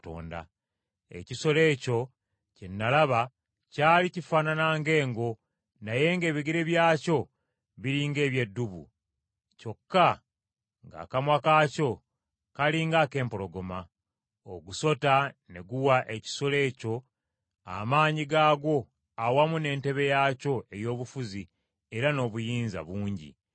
Ekisolo ekyo kye nalaba kyali kifaanana ng’engo naye ng’ebigere byakyo biri ng’eby’eddubu, kyokka ng’akamwa kaakyo kali ng’ak’empologoma. Ogusota ne guwa ekisolo ekyo amaanyi gaagwo awamu n’entebe yaakyo ey’obufuzi era n’obuyinza bungi.